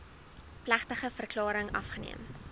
plegtige verklaring afgeneem